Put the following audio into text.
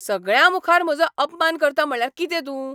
सगळ्यां मुखार म्हजो अपमान करता म्हटल्यार कितें तूं?